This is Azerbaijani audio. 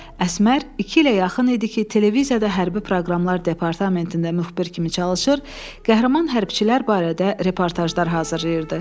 Əsmər iki ilə yaxın idi ki, televiziyada hərbi proqramlar departamentində müxbir kimi çalışır, qəhrəman hərbiçilər barədə reportajlar hazırlayırdı.